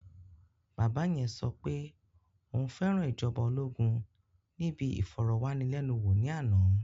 Bàbá yẹn sọ pé òun fẹ́ràn ìjọba ológun níbi ìfọ̀rọ̀wánilénuwò ní àná